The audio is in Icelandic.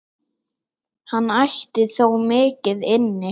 Hann ætti þó mikið inni.